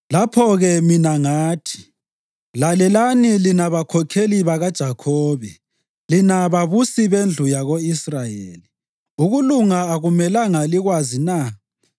Lapho-ke mina ngathi, “Lalelani lina bakhokheli bakoJakhobe, lina babusi bendlu yako-Israyeli. Ukulunga akumelanga likwazi na,